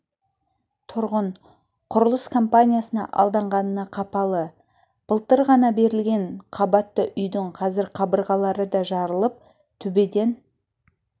тұрғын құрылыс компаниясына алданғанына қапалы былтыр ғана берілген қабатты үйдің қазір қабырлары да жарылып төбеден